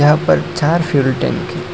वहां पर चार फ्यूल टैंक है।